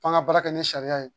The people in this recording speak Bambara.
F'an ka baara kɛ ni sariya ye